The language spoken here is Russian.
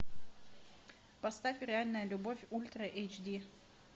поставь реальная любовь ультра эйч ди